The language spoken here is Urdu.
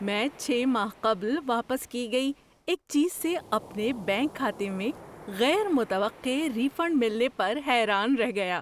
میں چھ ماہ قبل واپس کی گئی ایک چیز سے اپنے بینک کھاتے میں غیر متوقع ری فنڈ ملنے پر حیران رہ گیا۔